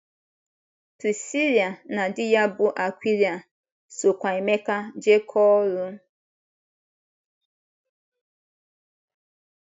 Prisila na di ya bụ́ Akwịla sokwa Emeka jekọọ oru.